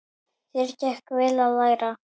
Þér gekk vel að læra.